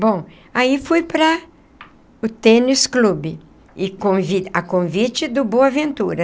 Bom, aí fui para o tênis clube e convite a convite do Boaventura.